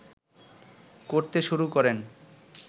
করতে শুরু করেন